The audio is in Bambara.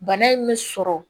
Bana in mɛ sɔrɔ